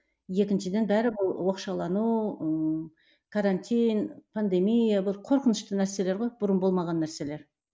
екіншіден бәрі бұл оқшаулану ыыы карантин пандемия бұл қорқынышты нәрселер ғой бұрын болмаған нәрселер